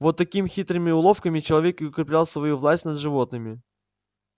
вот такими хитрыми уловками человек и укреплял свою власть над животными